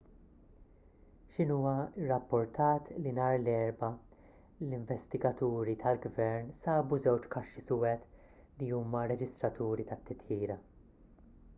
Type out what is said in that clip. xinhua rrappurtat li nhar l-erbgħa l-investigaturi tal-gvern sabu żewġ kaxxi suwed' li huma r-reġistraturi tat-titjira